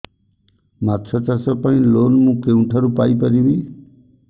ମାଛ ଚାଷ ପାଇଁ ଲୋନ୍ ମୁଁ କେଉଁଠାରୁ ପାଇପାରିବି